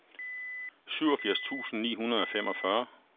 syvogfirs tusind ni hundrede og femogfyrre